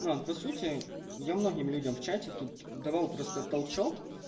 но по сути я многим людям в чате тут давал просто толчок